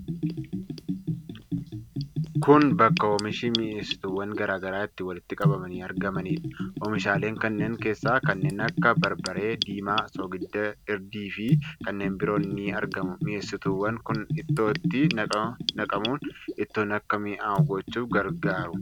Kuni bakka oomishi mi'eessituuwwan garaa garaa itti walitti qabamanii argamaniidha. Omiishaaleen kanneen keessaa kanneen akka barbaree diimaa, soogidda, hirdii fi kanneen biroo ni argamu. Mi'eessituuwwan kun Ittootti naqamuun ittoon akka mi'aayu gochuuf gargaaru.